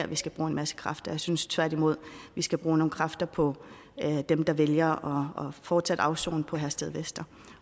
vi skal bruge en masse kræfter jeg synes tværtimod vi skal bruge nogle kræfter på dem der vælger fortsat at afsone på herstedvester